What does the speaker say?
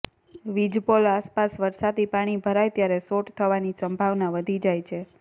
વીજપોલ આસપાસ વરસાદી પાણી ભરાય ત્યારે શોટ થવાની સંભાવના વધી જાય છે